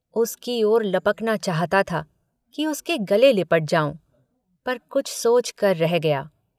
उसकी ओर लपकना चाहता था कि उसके गले लिपट जाऊँ पर कुछ सोचकर रह गया।